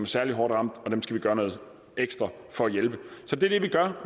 særlig hårdt ramt og at dem skal vi gøre noget ekstra for at hjælpe så det